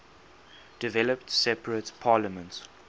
developed separate parliaments